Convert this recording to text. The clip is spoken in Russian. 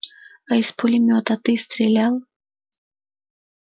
а из пулемёта ты стрелял